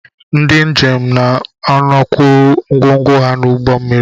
Ndị njem na-anọkwuru ngwongwo ha n'ụgbọ mmiri